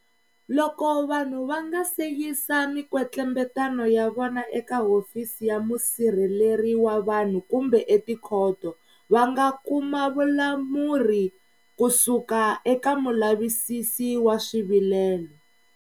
Loko vanhu va nga si yisa mikwetlembetano ya vona eka Hofisi ya Musirheleri wa Vanhu kumbe etikhoto, va nga kuma vulamuri kusuka eka Mulavisisi wa Swivilelo.